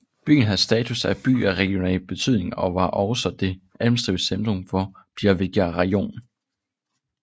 Byen havde status af By af regional betydning og var også det administrative centrum for Biljajivka rajon